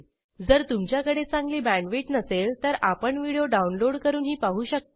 जर तुमच्याकडे चांगली बॅण्डविड्थ नसेल तर आपण व्हिडिओ डाउनलोड करूनही पाहू शकता